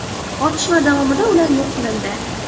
Otishma davomida ular yo‘q qilindi.